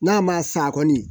N'a ma sa kɔni